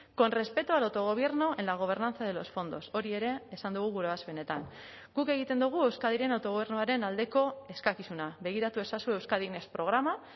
con respeto al autogobierno en la gobernanza de los fondos hori ere esan dugu gure ebazpenetan guk egiten dugu euskadiren autogobernuaren aldeko eskakizuna begiratu ezazu euskadi next programa